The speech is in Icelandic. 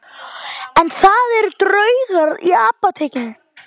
En það eru draugar í Apótekinu